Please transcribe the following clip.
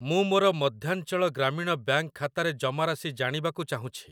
ମୁଁ ମୋର ମଧ୍ୟାଞ୍ଚଳ ଗ୍ରାମୀଣ ବ୍ୟାଙ୍କ୍‌ ଖାତାରେ ଜମାରାଶି ଜାଣିବାକୁ ଚାହୁଁଛି ।